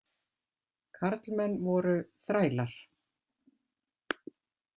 Karlmenn voru „þrælar“.